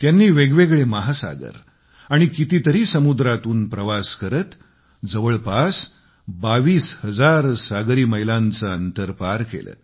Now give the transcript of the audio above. त्यांनी वेगवेगळे महासागर आणि कितीतरी समुद्रांतून प्रवास करत जवळपास बावीस हजार सागरी मैलांचे अंतर पार केले